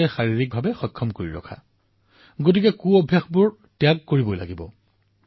fit ইণ্ডিয়াৰ বাবে এইবোৰৰ পৰাও ৰক্ষা পৰিব লাগিব